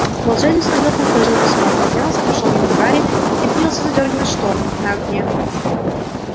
волшебник со вздохом сложил письмо поднялся прошёл мимо гарри и принялся задёргивать шторы на окне